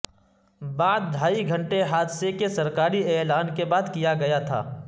بعد ڈھائی گھنٹے حادثے کے سرکاری اعلان کے بعد کیا گیا تھا